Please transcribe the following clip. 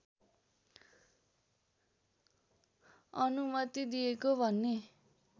अनुमति दिएको भन्ने